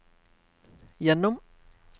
gjennom